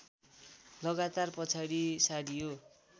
लगातार पछाडि सारियो